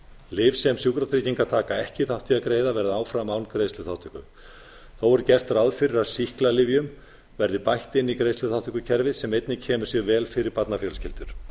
lyf sem sjúkratryggingar taka ekki þátt í að greiða verða að vera áfram án greiðsluþátttöku þó er gert ráð fyrir að sýklalyfjum verði bætt inn í greiðsluþátttökukerfið sem einnig kemur sér vel fyrir barnafjölskyldur